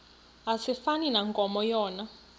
asifani nankomo yona